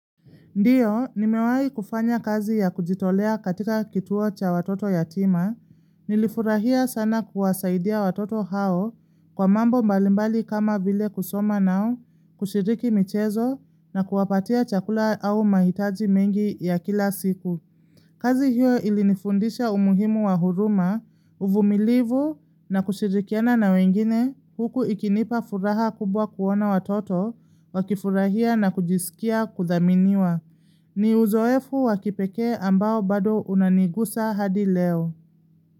Ndiyo, nimewahi kufanya kazi ya kujitolea katika kituo cha watoto yatima, nilifurahia sana kuwasaidia watoto hao kwa mambo mbalimbali kama vile kusoma nao, kushiriki michezo na kuwapatia chakula au mahitaji mengi ya kila siku. Kazi hiyo ilinifundisha umuhimu wa huruma, uvumilivu na kushirikiana na wengine huku ikinipa furaha kubwa kuona watoto, wakifurahia na kujisikia kuthaminiwa. Ni uzoefu wa kipekee ambao bado unanigusa hadi leo.